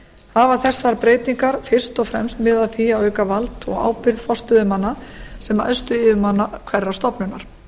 hafa þessar breytingar fyrst og fremst miðað að því að auka vald og ábyrgð forstöðumanna sem æðstu yfirmanna hverrar stofnunar